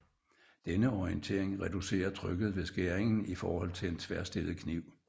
Denne orientering reducerer trykket ved skæringen i forhold til en tværstillet kniv